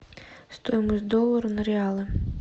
стоимость доллара на реалы